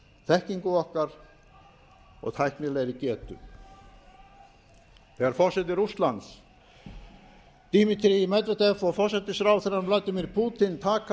þekkingu okkar og tæknilegri getu þegar forseti rússlands dmitry medvedev og forsætisráðherrann vladimir putin taka